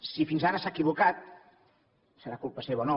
si fins ara s’ha equivocat serà culpa seva o no